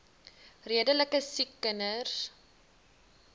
redelike siek kinders